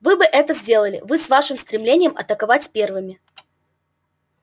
вы бы это сделали вы с вашим стремлением атаковать первыми